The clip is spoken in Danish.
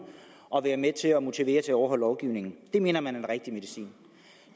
og være med til at motivere til at overholde lovgivningen det mener man er den rigtige medicin